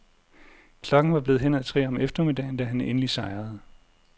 Klokken var blevet hen ad tre om eftermiddagen, da han endelig sejrede.